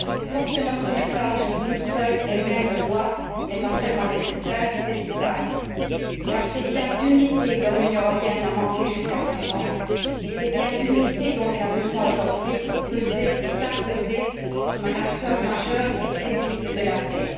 Porter notre message d'une seule et même voix n'est pas seulement nécessaire, c'est vital, car c'est bien d'unité dont l'Union européenne a manqué jusqu'à présent, et c'est bien d'unité dont elle a besoin aujourd'hui pour peser et s'imposer comme un acteur majeur et crédible de la paix.